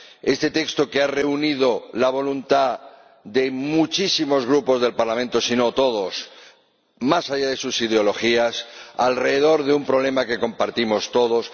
Un texto que ha reunido la voluntad de muchísimos Grupos del Parlamento, sino la de todos, más allá de sus ideologías, alrededor de un problema que compartimos todos.